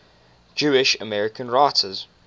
jewish american writers